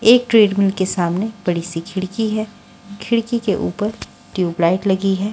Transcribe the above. एक ट्रेडमिल के सामने बड़ी सी खिड़की है खिड़की के ऊपर ट्यूबलाइट लगी है।